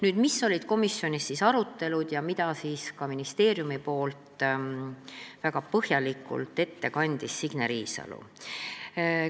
Millised olid komisjoni arutelud ja mida ministeeriumi nimel väga põhjalikult kandis ette Signe Riisalo?